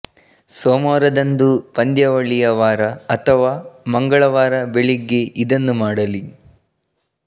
ಸೋಮವಾರದಂದು ಪಂದ್ಯಾವಳಿಯ ವಾರ ಅಥವಾ ಮಂಗಳವಾರ ಬೆಳಿಗ್ಗೆ ಇದನ್ನು ಮಾಡಲಿ